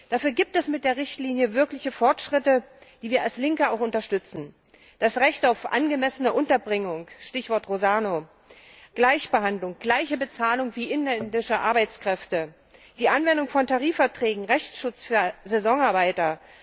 Dafür gibt es mit der Richtlinie wirkliche Fortschritte, die wir als Linke auch unterstützen das Recht auf angemessene Unterbringung Stichwort Rosano Gleichbehandlung, gleiche Bezahlung wie inländische Arbeitskräfte, die Anwendung von Tarifverträgen, Rechtsschutz für Saisonarbeiter.